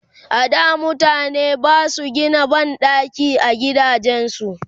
a da mutane Basu Gina banɗaki a gidajen su